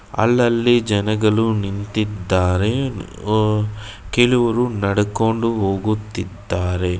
ಅಲ್ಲಲ್ಲಿ ಜನಗಲು ನಿಂತಿದ್ದಾರೆ ಅ ಕೆಲವರು ನಡಕೊಂಡು ಹೋಗುತ್ತಿದ್ದಾರೆ.